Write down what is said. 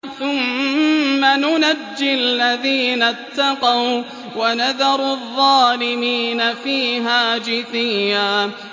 ثُمَّ نُنَجِّي الَّذِينَ اتَّقَوا وَّنَذَرُ الظَّالِمِينَ فِيهَا جِثِيًّا